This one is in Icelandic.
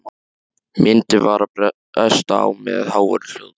Myndin var að bresta á með háværum hljóðum.